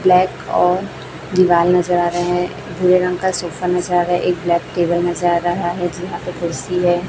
Black और दिवाल नजर आ रहे हैं भूरे रंग का सोफा नजर आ रहा है एक ब्लैक टेबल नजर आ रहा है जिहां पे कुर्सी है।